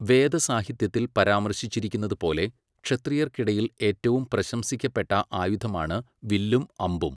വേദ സാഹിത്യത്തിൽ പരാമർശിച്ചിരിക്കുന്നതുപോലെ, ക്ഷത്രിയർക്കിടയിൽ ഏറ്റവും പ്രശംസിക്കപ്പെട്ട ആയുധമാണ് വില്ലും അമ്പും.